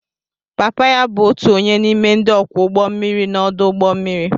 Papa ya bụ otu onye n'ime ndị ọkwọ ụgbọ mmiri n'ọdụ ụgbọ mmiri